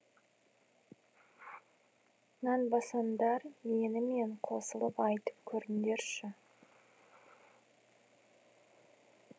нанбасаңдар менімен қосылып айтып көріңдерші